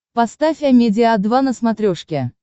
поставь амедиа два на смотрешке